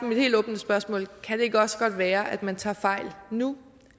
mit helt åbne spørgsmål kan det ikke også godt være at man tager fejl nu